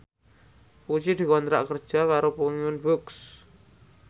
Puji dikontrak kerja karo Penguins Books